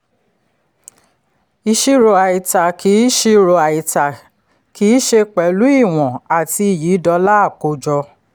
ìṣirò àìtà kì ìṣirò àìtà kì í ṣe pẹ̀lú ìwọ̀n àti iyì dọ́là àkójọ.